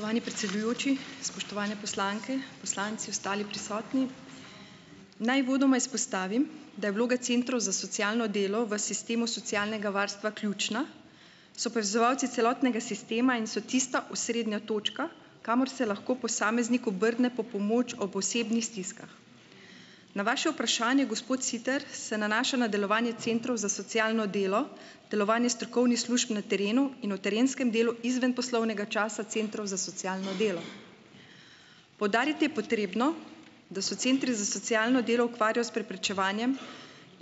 Spoštovani predsedujoči, spoštovane poslanke, poslanci, ostali prisotni! Naj uvodoma izpostavim, da je vloga centrov za socialno delo v sistemu socialnega varstva ključna, so opazovalci celotnega sistema in so tista osrednja točka, kamor se lahko posameznik obrne po pomoč ob osebnih stiskah. Na vaše vprašanje, gospod Siter, se nanaša na delovanje centrov za socialno delo, delovanje strokovnih služb na terenu in o terenskem delu izven poslovnega časa centrov za socialno delo. Poudariti je potrebno, da se centri za socialno delo ukvarjajo s preprečevanjem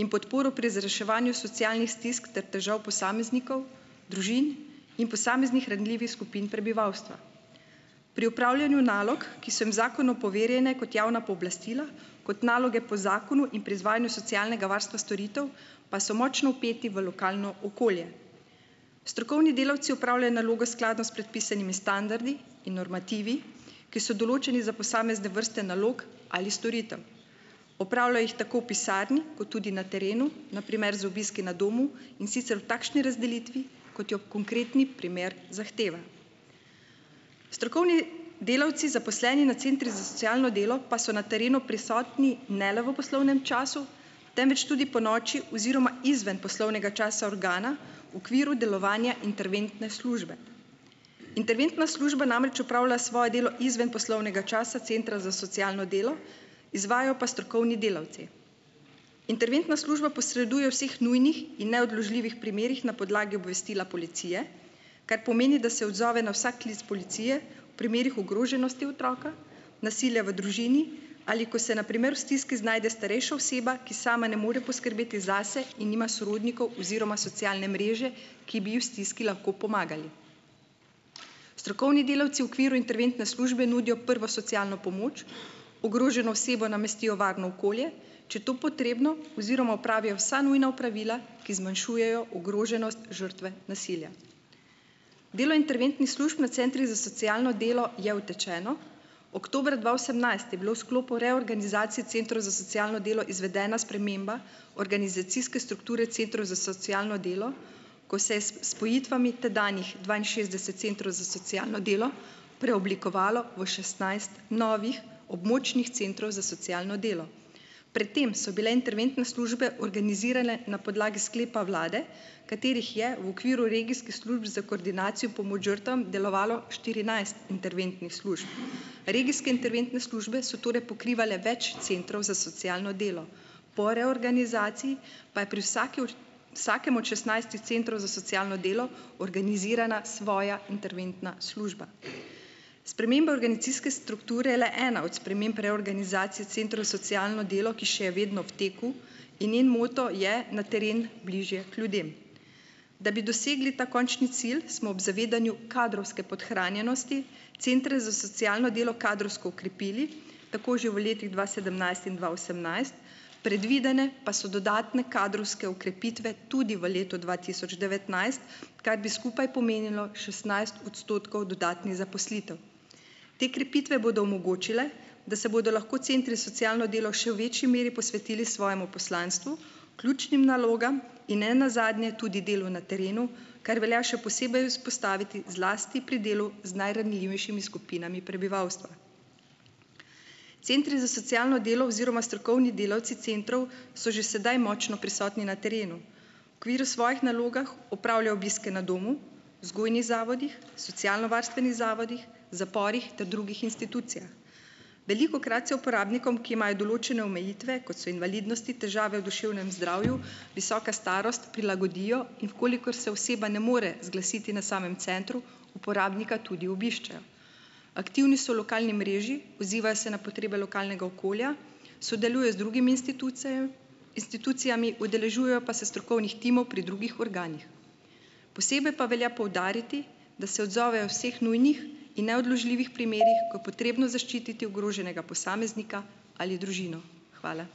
in podporo pri razreševanju socialnih stisk ter težav posameznikov, družin in posameznih ranljivih skupin prebivalstva. Pri opravljanju nalog, ki so jim v zakonu poverjene kot javna pooblastila, kot naloge po zakonu in pri izvajanju socialnega varstva storitev, pa so močno vpeti v lokalno okolje. Strokovni delavci opravljajo naloge skladno s predpisanimi standardi in normativi, ki so določeni za posamezne vrste nalog ali storitev. Opravljajo jih tako v pisarni kot tudi na terenu, na primer z obiski na domu, in sicer v takšni razdelitvi, kot jo konkretni primer zahteva. Strokovni delavci, zaposleni na centrih za socialno delo, pa so na terenu prisotni ne le v poslovnem času, temveč tudi ponoči oziroma izven poslovnega časa organa v okviru delovanja interventne službe. Interventna služba namreč opravlja svoje delo izven poslovnega časa centra za socialno delo, izvajajo pa strokovni delavci. Interventna služba posreduje vseh nujnih in neodložljivih primerih na podlagi obvestila policije, kar pomeni, da se odzove na vsak klic policije, v primerih ogroženosti otroka, nasilja v družini, ali ko se na primer v stiski znajde starejša oseba, ki sama ne more poskrbeti zase in nima sorodnikov oziroma socialne mreže, ki bi ji v stiski lahko pomagali. Strokovni delavci v okviru interventne službe nudijo prvo socialno pomoč, ogroženo osebo namestijo v varno okolje, če je to potrebno oziroma opravijo vsa nujna opravila, ki zmanjšujejo ogroženost žrtve nasilja. Delo interventnih služb na centrih za socialno delo je utečeno. Oktobra dva osemnajst je bila v sklopu reorganizacije centrov za socialno delo izvedena sprememba organizacijske strukture centrov za socialno delo, ko se s spojitvami tedanjih dvainšestdeset centrov za socialno delo preoblikovalo v šestnajst novih območnih centrov za socialno delo. Pred tem so bile interventne službe organizirane na podlagi sklepa vlade, katerih je v okviru regijskih služb za koordinacijo pomoč žrtvam delovalo štirinajst interventnih služb. Regijske interventne službe so torej pokrivale več centrov za socialno delo po reorganizaciji pa je pri vsaki od vsakem od šestnajstih centrov za socialno delo organizirana svoja interventna služba. Sprememba organizacijske strukture je le ena od sprememb reorganizacije centrov za socialno delo, ki še je vedno v teku, in njen moto je na teren, bližje k ljudem. Da bi dosegli ta končni cilj, smo ob zavedanju kadrovske podhranjenosti centrov za socialno delo kadrovsko okrepili, tako že v letih dva sedemnajst in dva osemnajst, predvidene pa so dodatne kadrovske okrepitve tudi v letu dva tioč devetnajst, kar bi skupaj pomenilo šestnajst odstotkov dodatnih zaposlitev. Te krepitve bodo omogočile, da se bodo lahko centri za socialno delo še v večji meri posvetili svojemu poslanstvu, ključnim nalogam in nenazadnje tudi delu na terenu, kar velja še posebej izpostaviti, zlasti pri delu z najranljivejšimi skupinami prebivalstva. Centri za socialno delo oziroma strokovni delavci centrov so že sedaj močno prisotni na terenu, v okviru svojih nalog opravljajo obiske na domu, vzgojnih zavodih, socialnovarstvenih zavodih, zaporih ter drugih institucijah. Velikokrat se uporabnikom, ki imajo določene omejitve, kot so invalidnosti, težave v duševnem zdravju, visoka starost, prilagodijo, in v kolikor se oseba ne more zglasiti na samem centru, uporabnika tudi obiščejo. Aktivni so v lokalni mreži, odzivajo se na potrebe lokalnega okolja, sodelujejo z drugimi institucijami, udeležujejo pa se strokovnih timov pri drugih organih. Posebej pa velja poudariti, da se odzovejo vseh nujnih in neodložljivih primerih, ko je potrebno zaščititi ogroženega posameznika ali družino. Hvala.